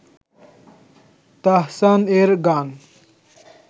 তাহসান এর গান